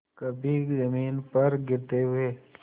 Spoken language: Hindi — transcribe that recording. कभी जमीन पर गिरते हुए